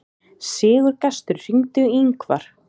Sigurgestur, hringdu í Yngvar.